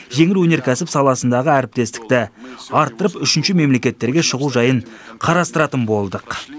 жеңіл өнеркәсіп саласындағы әріптестікті арттырып үшінші мемлекеттерге шығу жайын қарастыратын болдық